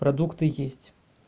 продукты есть